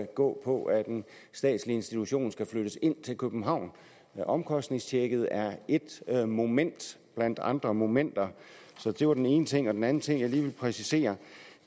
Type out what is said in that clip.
gå på at den statslige institution skal flyttes ind til københavn omkostningstjekket er et moment blandt andre momenter det var den ene ting den anden ting jeg lige vil præcisere